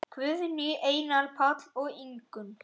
Guðný, Einar, Páll og Ingunn.